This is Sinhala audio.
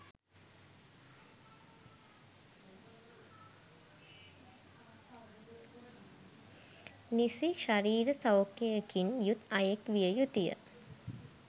නිසි ශරීර සෞඛ්‍යයකින් යුත් අයෙක් විය යුතුය